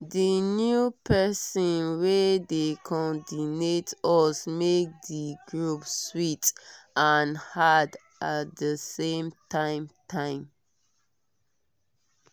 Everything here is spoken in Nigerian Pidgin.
di new pesin wey dey cordinate us make di group sweet and hard at di same time time